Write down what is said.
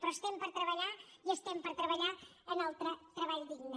però estem per treballar i estem per treballar en el treball digne